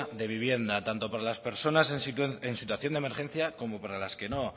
de vivienda tanto para las personas en situación de emergencia como para las que no